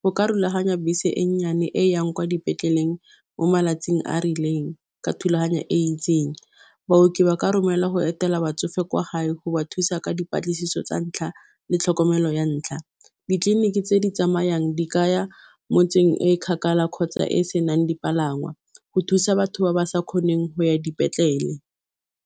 go ka rulaganya bese e nnyane e yang kwa dipetleleng mo malatsing a rileng ka thulaganyo e itseng baoki ba ka romelwa go etela batsofe kwa gae go ba thusa ka dipatlisiso tsa ntlha le tlhokomelo ya ntlha, ditleliniki tse di tsamayang di kaya motseng e kgakala kgotsa e e senang dipalangwa, go thusa batho ba ba sa kgoneng go ya dipetlele.